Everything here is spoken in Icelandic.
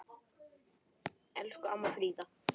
Elsku amma Fríða.